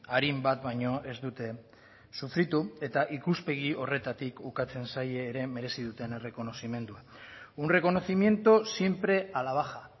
arin bat baino ez dute sufritu eta ikuspegi horretatik ukatzen zaie ere merezi duten errekonozimendua un reconocimiento siempre a la baja